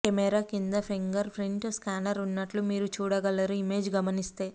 camera క్రింద finger print scanner ఉన్నట్లు మీరు చూడగలరు ఇమేజ్ గమనిస్తే